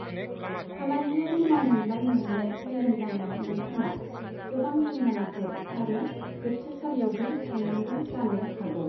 फालांगियारि मावमोनलाइ मोननो फेलें जानायाव नोंथाङा गोबां जुरिमानाफोर आरो जोबथेसालियावबो थांनांगौ जानो हागौ।